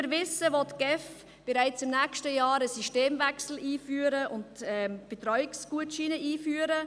Wie wir wissen, will die GEF bereits im nächsten Jahr einen Systemwechsel und Betreuungsgutscheine einführen.